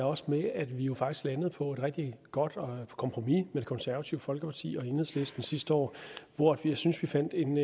også med at vi jo faktisk landede på et rigtig godt kompromis med det konservative folkeparti og enhedslisten sidste år hvor jeg synes vi fandt en